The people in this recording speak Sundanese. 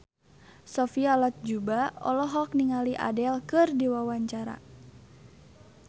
Sophia Latjuba olohok ningali Adele keur diwawancara